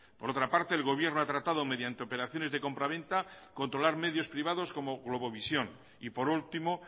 por otra parte el gobierno ha tratado mediante operaciones de compraventa controlar medios privados como globovisión y por último